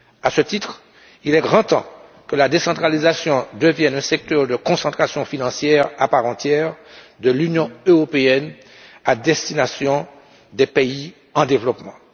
À ce titre, il est grand temps que la décentralisation devienne un secteur de concentration financière à part entière de l'Union européenne à destination des pays en développement.